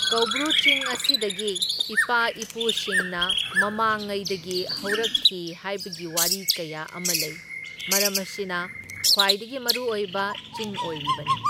ꯀꯧꯕ꯭ꯔꯨ ꯆꯤꯡ ꯑꯁꯤꯗꯒꯤ ꯏꯄꯥ ꯏꯄꯨꯁꯤꯡꯅ ꯃꯃꯥꯡꯉꯩꯗꯒꯤ ꯍꯧꯔꯛꯈꯤ ꯍꯥꯏꯕꯒꯤ ꯋꯥꯔꯤ ꯀꯌꯥ ꯑꯃ ꯂꯩ, ꯃꯔꯝ ꯑꯁꯤꯅ ꯈ꯭ꯋꯥꯏꯗꯒꯤ ꯃꯔꯨ ꯑꯣꯏꯕ ꯆꯤꯡ ꯑꯣꯏꯔꯤꯕꯅꯤ꯫